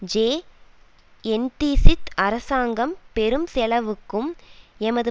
J என்தீக்ஷித் அரசாங்கம் பெரும் செலவுக்கும் எமது